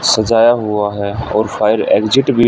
सजाया हुआ है और फायर एग्जिट भी--